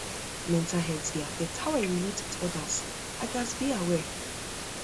mental um health dey um affect how i relate with others i others i gats be aware